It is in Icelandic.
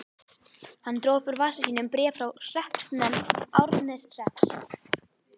Hann dró upp úr vasa sínum bréf frá hreppsnefnd Árneshrepps.